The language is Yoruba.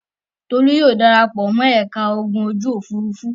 Tolú yóò dara pọ̀ mọ́ ẹ̀ka ogun ojú-òfurufú.